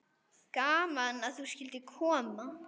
Gaman að þú skyldir koma.